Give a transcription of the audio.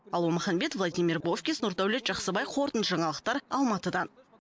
алуа маханбет владимир бовкис нұрдәулет жақсыбай қорытынды жаңалықтар алматыдан